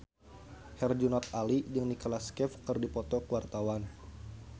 Herjunot Ali jeung Nicholas Cafe keur dipoto ku wartawan